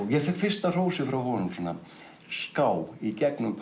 ég fékk fyrsta hrósið frá honum svona á ská í gegnum